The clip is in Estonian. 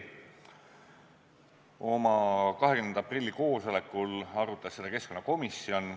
Oma 20. aprilli koosolekul arutas seda keskkonnakomisjon.